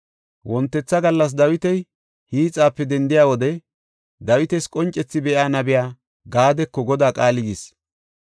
Wontetha gallas Dawiti hiixape dendiya wode Dawitas qoncethi be7iya, nabiya Gaadeko Godaa qaalay yis.